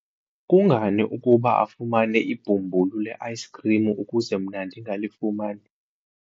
kungani ukuba afumane ibhumbulu le-ayisikhrim ukuze mna ndingalifumani?